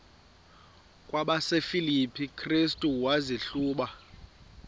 kwabasefilipi restu wazihluba